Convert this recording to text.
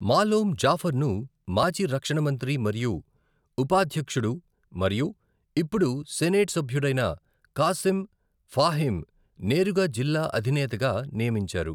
మాలోమ్ జాఫర్ను, మాజీ రక్షణ మంత్రి మరియు ఉపాధ్యక్షుడు మరియు ఇప్పుడు సెనెట్ సభ్యుడైన కాసిం ఫాహిమ్, నేరుగా జిల్లా అధినేతగా నియమించారు.